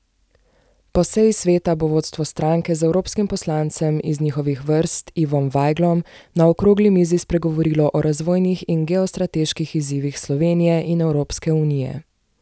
Po seji sveta bo vodstvo stranke z evropskim poslancem iz njihovih vrst Ivom Vajglom na okrogli mizi spregovorilo o razvojnih in geostrateških izzivih Slovenije in Evropske unije.